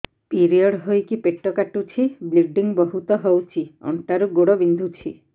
period ହୋଇକି ପେଟ କାଟୁଛି ବ୍ଲିଡ଼ିଙ୍ଗ ବହୁତ ହଉଚି ଅଣ୍ଟା ରୁ ଗୋଡ ବିନ୍ଧୁଛି